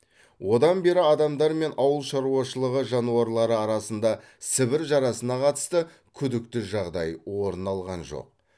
одан бері адамдар мен ауыл шаруашылығы жануарлары арасында сібір жарасына қатысты күдікті жағдай орын алған жоқ